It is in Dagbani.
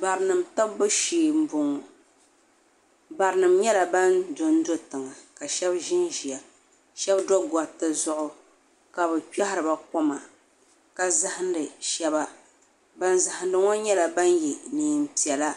Bara nima tibibu shee n bɔŋɔ bara nima nyɛla bani do n do tiŋa ka shɛba zi n ziya shɛba do goriti zuɣu ka bi kpɛhiri ba koma ka zahindi shɛba bani zahindi ŋɔ nyɛla bani ye nɛma piɛlla